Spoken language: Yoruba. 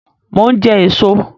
Mo ń jẹ èso